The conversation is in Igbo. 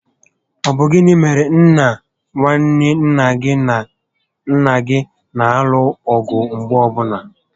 Ọ bụ gịnị mèrè na nwanne nna gị na nnà gị na alụ ọgụ mgbe niile?